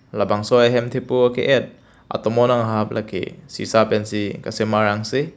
labangso ahem thepo ake et atomon anghap lake sisa pensi kasemar angse.